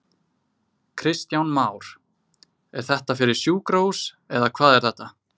Kristján Már: Er þetta fyrir sjúkrahús eða hvað er þetta?